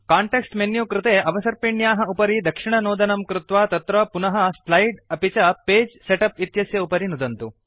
context menu कृते अवसर्पिण्याः उपरि दक्षिणनोदनं कृत्वा तत्र पुनः स्लाइड् अपि च पगे सेटअप् इत्यस्य उपरि नुदन्तु